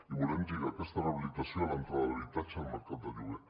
i volem lligar aquesta rehabilitació a l’entrada de l’habitatge al mercat del lloguer